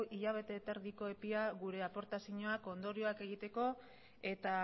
hilabete terdiko epea gure aportazioa ondoriak egiteko eta